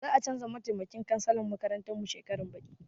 Za a canza mataimakin cansalan makarantar mu shekaran baɗi.